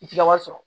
I ti ka wari sɔrɔ